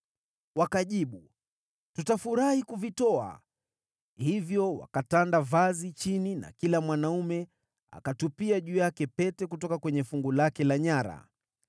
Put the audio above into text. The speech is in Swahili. Wakajibu, “Tutafurahi kuvitoa.” Hivyo wakatanda vazi chini na kila mwanaume akatupia juu yake pete kutoka kwenye fungu lake la nyara.